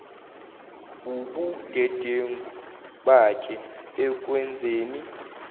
wubudedengu bakhe ekwenzeni